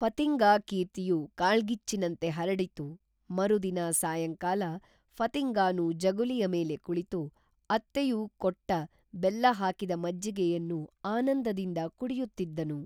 ಫತಿಂಗಾ ಕೀರ್ತಿಯು ಕಾಳ್ಗಿಚ್ಚಿನಂತೆ ಹರಡಿತು ಮರುದಿನ ಸಾಯಂಕಾಲ ಫತಿಂಗಾನು ಜಗುಲಿಯ ಮೇಲೆ ಕುಳಿತು ಅತ್ತೆಯು ಕೊಟ್ಟ ಬೆಲ್ಲಹಾಕಿದ ಮಜ್ಜಿಗೆಯನ್ನು ಆನಂದದಿಂದ ಕುಡಿಯುತ್ತಿದ್ದನು